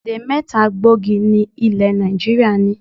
Èdè̀ mẹ́ta gbòógì ni ilẹ̀ Nàìjíríà ní.